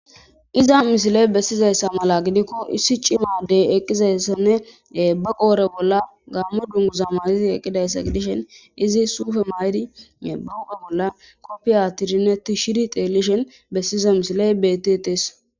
iza misiley bessizayssa mala gidikko issi cimadey eqqizayssanne baqoore bolla gaamme dunguzama izi eqidayssa gidishen izi suufe maydi buphe bolla koppiya tirnetti shiri teellishen bessiza misiley bettes